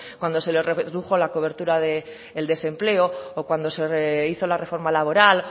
cuando se les redujo la cobertura del desempleo o cuando se hizo la reforma laboral